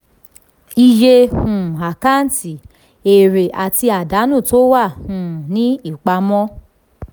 iye um àkáǹtì: èrè àti àdánù tó wà um ní ìpàmọ.